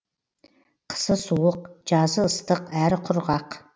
қысы суық жазы ыстық әрі құрғақ